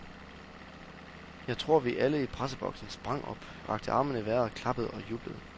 Jeg tror, vi alle i presseboksen sprang op, rakte armene i vejret, klappede og jublede.